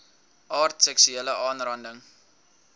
aard seksuele aanranding